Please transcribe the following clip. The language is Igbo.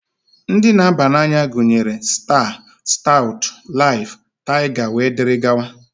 Ndị na-aba n'anya gunyere: Staa, Staụtụ, Laịf, Taịga wee dịrị gawa.